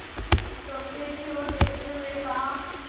लोटे की ओर देखते हुए कहा